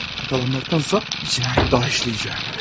Yaqalanmaqdansa bir cinayət daha işləyəcəm.